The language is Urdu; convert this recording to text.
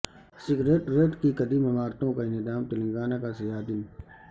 سکریٹریٹ کی قدیم عمارتوں کا انہدام تلنگانہ کا سیاہ دن